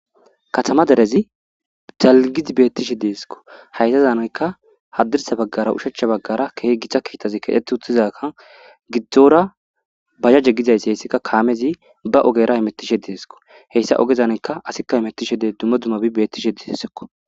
katama derezi dalgizi beettishe deeskko haytazanayka haddirsa baggara ushacha baggara keh githa kiitazi kedheti uttizaka giddzora bahaje gizayssi heyssikka kaamezi ba ogera imettishe deesko heyssa ogezanaka asikka imettishe dee dumma dumabi bettishe diessekko